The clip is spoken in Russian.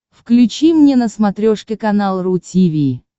включи мне на смотрешке канал ру ти ви